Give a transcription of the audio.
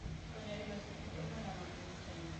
Konyo e loso kit oganda ma piny Kenya.